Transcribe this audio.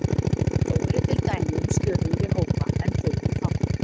Þó eru til dæmi um stöðugri hópa en þau eru fátíð.